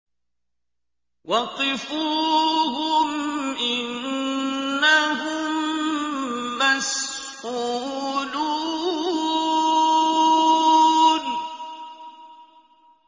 وَقِفُوهُمْ ۖ إِنَّهُم مَّسْئُولُونَ